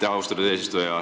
Aitäh, austatud eesistuja!